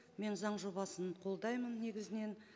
мен заң жобасын қолдаймын негізінен